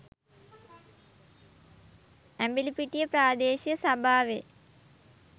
ඇඹිලිපිටිය ප්‍රාදේශීය සභාවේ